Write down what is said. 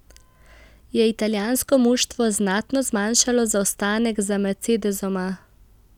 Je italijansko moštvo znatno zmanjšalo zaostanek za mercedesoma?